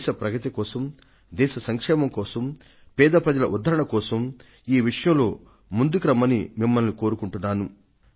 దేశ ప్రగతి కోసం దేశ సంక్షేమం కోసం పేద ప్రజల ఉద్ధరణ కోసం ఈ విషయంలో ముందుకు రమ్మని కోరుకుంటున్నాను